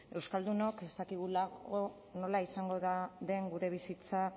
euskaldunok ez dakigulako nola izango den gure bizitza